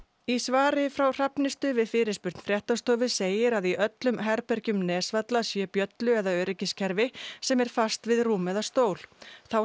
í svari frá Hrafnistu við fyrirspurn fréttastofu segir að í öllum herbergjum Nesvalla sé bjöllu eða öryggiskerfi sem er fast við rúm eða stól þá